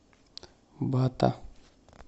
бата